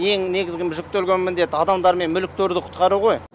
ең негізгі жүктелген міндет адамдар мен мүліктерді құтқару ғой